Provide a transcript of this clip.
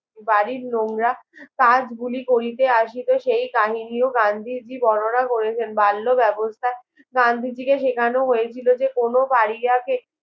বাড়ির নোংরা কাজ গুলি করিতে অসিত সেই কাহিনীও গান্ধীজি বর্ণনা করেছেন বাল্য বেবস্থা গান্ধীজিকে সেখান হয়েছিল যে কোনো বাড়িয়ে কে